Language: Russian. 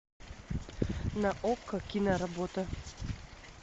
на окко киноработа